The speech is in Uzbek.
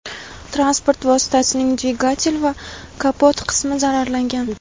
Transport vositasining dvigatel va kapot qismi zararlangan.